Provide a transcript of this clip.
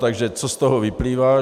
Takže co z toho vyplývá?